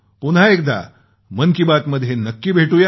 पुन्हा एकदा मन की बात मध्ये नक्की भेटूया